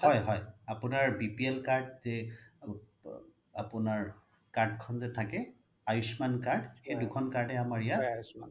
হয় হয় আপোনাৰ BPL card আপোনাৰ card খন যি থাকে আয়ুষ্মান card সেই দুখ্ন card য়ে আমাৰ ইয়াত